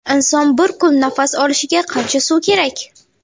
Inson bir kun nafas olishiga qancha suv kerak?.